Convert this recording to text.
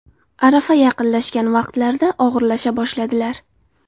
Arafa yaqinlashgan vaqtlarida og‘irlasha boshladilar.